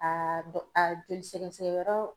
A dɔ a joli sɛgɛsɛgɛ yɔrɔ